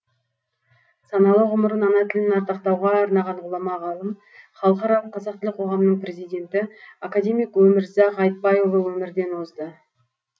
саналы ғұмырын ана тілін ардақтауға арнаған ғұлама ғалым халықаралық қазақ тілі қоғамының президенті академик өмірзақ айтбайұлы өмірден озды